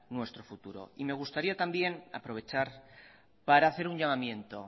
nuestro futuro me gustaría también aprovechar para hacer un llamamiento